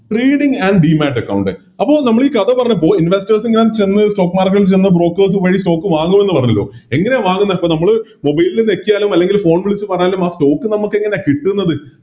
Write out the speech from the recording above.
Trading and demat account അപ്പൊ നമ്മളീ കഥ പറഞ്ഞപ്പോൾ Investors ഞാൻ ചെന്ന് Stock market ൽ ചെന്ന് Brokers വഴി Stock വാങ്ങുമെന്ന് പറഞ്ഞല്ലോ എങ്ങനെയാ വാങ്ങുന്നപ്പോ നമ്മള് Mobile ൽ ഞെക്കിയാലും അല്ലെങ്കില് Phone വിളിച്ച് പറഞ്ഞാലും ആ Stock നമ്മക്കെങ്ങനെ കിട്ടുന്നത്